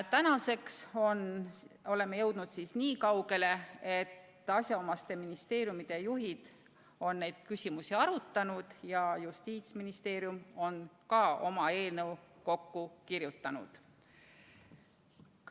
Nüüd oleme jõudnud nii kaugele, et asjaomaste ministeeriumide juhid on neid küsimusi arutanud ja Justiitsministeerium on ka oma eelnõu kokku kirjutanud.